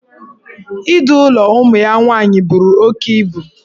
Idu ụlọ ụmụ ya nwaanyị buru oke ibu.